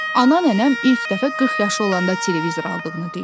Ana nənəm ilk dəfə 40 yaşı olanda televizor aldığını deyir.